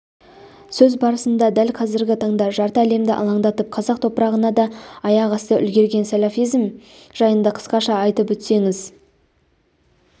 сөз басында дәл қазіргі таңда жарты әлемді алаңдатып қазақ топырағына да аяқ басып үлгерген сәләфизм жайында қысқаша айтып өтсеңіз